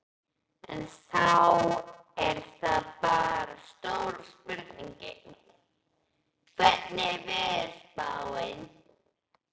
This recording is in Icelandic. En þá er það bara stóra spurningin, hvernig er veðurspáin?